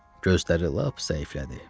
Gözləri lap zəiflədi.